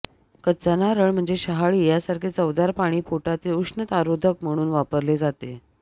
कच्चा नारळ म्हणजे शहाळी यासारखे चवदार पाणी पोटातील उष्णतारोधक म्हणून वापरले जाते